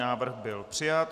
Návrh byl přijat.